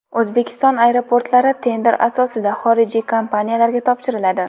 O‘zbekiston aeroportlari tender asosida xorijiy kompaniyalarga topshiriladi.